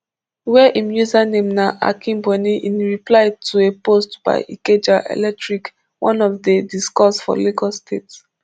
wey im username na akinboni in reply to a post by ikeja electric one of di discos for lagos state